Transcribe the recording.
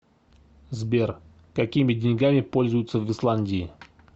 сбер какими деньгами пользуются в исландии